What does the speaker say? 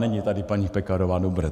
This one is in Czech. Není tady paní Pekarová, dobré.